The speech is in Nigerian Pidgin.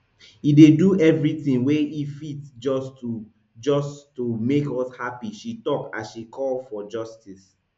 e dey do everytin wey e fit just to just to make us happy she tok as she call for justice